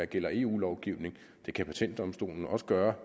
gælder eu lovgivning det kan patentdomstolen også gøre